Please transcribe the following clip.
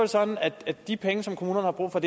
sådan at de penge som kommunerne har brug for